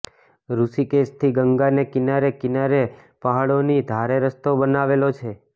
ઋષિકેશથી ગંગાને કિનારે કિનારે પહાડોની ધારે રસ્તો બનાવેલો છે